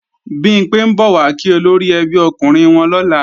Bimpé ń bọ̀ wá kí olóríẹbí okùnrin wọn lọ́la